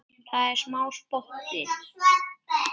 Það er smá spotti.